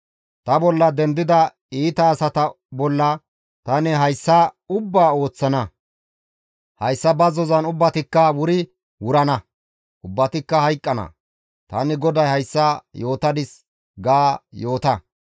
Ta bolla dendida iita asata bolla tani hayssa ubbaa ooththana; hayssa bazzozan ubbatikka wuri wurana; ubbatikka hayqqana; tani GODAY hayssa yootadis› ga yoota.»